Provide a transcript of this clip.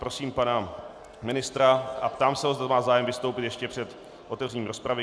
Prosím pana ministra a ptám se ho, zda má zájem vystoupit ještě před otevřením rozpravy.